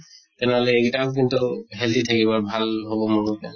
তেনেহলে এইগিতাও কিন্তু healthy থাকিব আৰু ভাল হʼব মোৰ মতে।